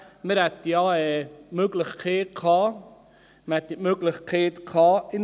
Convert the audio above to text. Man hätte ja in Prêles die Möglichkeit gehabt.